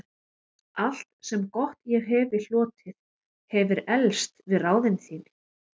Allt, sem gott ég hefi hlotið, hefir eflst við ráðin þín.